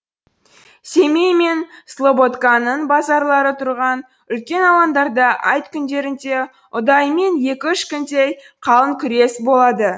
семей мен слободканың базарлары тұрған үлкен алаңдарда айт күндерінде ұдайымен екі үш күндей қалың күрес болады